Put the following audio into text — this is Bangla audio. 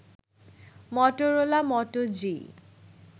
Motorola Moto G